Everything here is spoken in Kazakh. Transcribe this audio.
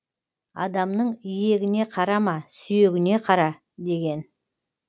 адамның иегіне қарама сүйегіне кара деген